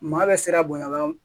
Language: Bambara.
Maa bɛ siran bonya